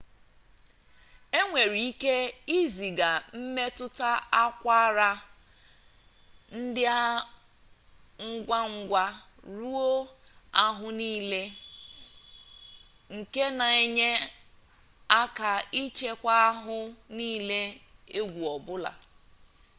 enwere ike iziga mmetụta akwara ndị a ngwa ngwa ruo ahụ niile nke na-enye aka ịchekwa ahụ n'ihe egwu ọbụla